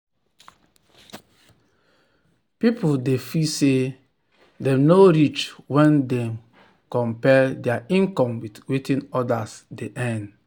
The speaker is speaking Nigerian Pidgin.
people dey feel say dem no reach when dem compare their income with wetin others dey earn.